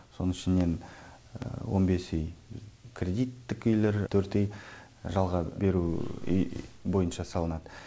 соның ішінен он бес үй кредиттік үйлер төрт үй жалға беру бойынша салынады